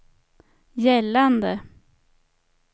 gällande